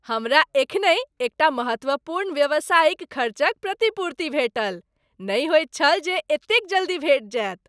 हमरा एखनहि एकटा महत्वपूर्ण व्यावसायिक खर्चक प्रतिपूर्ति भेटल , नहि होइत छल जे एतेक जल्दी भेटि जायत। ।